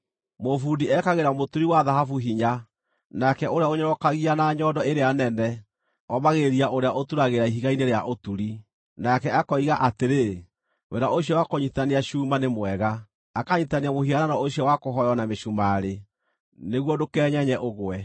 Mũbundi ekagĩra mũturi wa thahabu hinya, nake ũrĩa ũnyorokagia na nyondo ĩrĩa nene omagĩrĩria ũrĩa ũturagĩra ihiga-inĩ rĩa ũturi. Nake akoiga atĩrĩ, “Wĩra ũcio wa kũnyiitithania cuma nĩ mwega.” Akanyiitithania mũhianano ũcio wa kũhooywo na mĩcumarĩ, nĩguo ndũkenyenye, ũgwe.